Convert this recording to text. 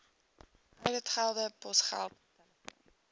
ouditgelde posgeld telefoon